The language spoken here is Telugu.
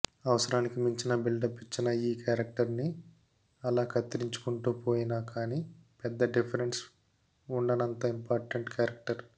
అవసరానికి మించిన బిల్డప్ ఇచ్చిన ఈ క్యారెక్టర్ని అలా కత్తిరించుకుంటూ పోయినా కానీ పెద్ద డిఫరెన్స్ వుండనంత ఇంపార్టెంట్ క్యారెక్టర్